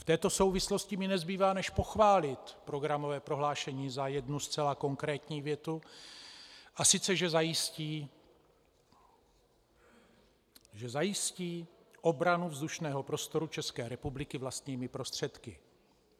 V této souvislosti mi nezbývá než pochválit programové prohlášení za jednu zcela konkrétní větu, a sice že zajistí, že zajistí obranu vzdušného prostoru České republiky vlastními prostředky.